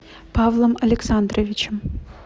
павлом александровичем